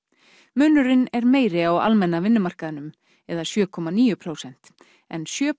munurinn er meiri á almenna vinnumarkaðnum eða sjö komma níu prósent en sjö